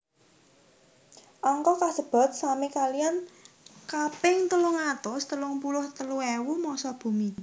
Angka kasebat sami kaliyan kaping telung atus telung puluh telu ewu massa bumi